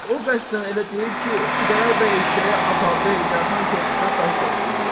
O qəsdən elə deyib ki, Xudayar bəy eşşəyi aparıda Heydər xan körpüsünə daş daşısınlar.